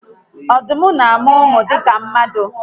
Odum na amu umu dika mmadu